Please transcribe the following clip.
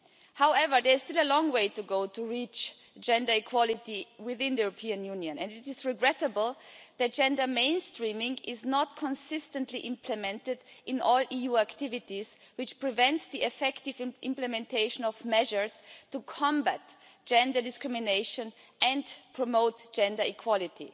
However, there is still a long way to go to reach gender equality within the European Union and it is regrettable that gender mainstreaming is not consistently implemented in all EU activities, which prevents the effective implementation of measures to combat gender discrimination and promote gender equality.